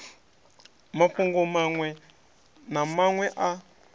mafhungo maṅwe na maṅwe a